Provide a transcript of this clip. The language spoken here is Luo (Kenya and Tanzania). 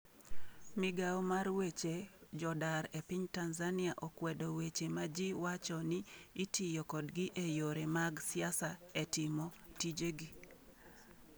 Migao mar weche jodar e piny Tanzania okwedo weche ma ji wacho ni itiyo kodgi e yore mag siasa e timo tijegi.